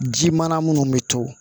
Ji mana munnu bɛ to